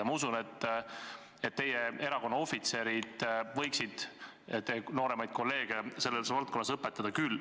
Ja ma usun, et teie erakonna ohvitserid võiksid nooremaid kolleege selles osas õpetada.